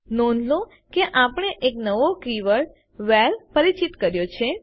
નોંધ લો કે આપણે એક નવો કીવર્ડ વ્હેરે પરિચિત કર્યો છે